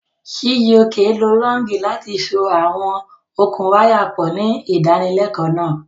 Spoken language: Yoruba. Chijioke lo lọ́ọ̀gì láti so àwọn okùn wáyà pọ̀ ní ìdánilẹ́kọ̀ọ́ náà.